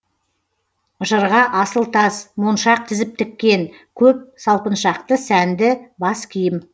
жырға асыл тас моншақ тізіп тіккен көп салпыншақты сәнді бас киім